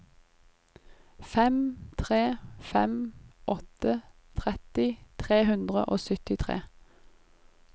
fem tre fem åtte tretti tre hundre og syttitre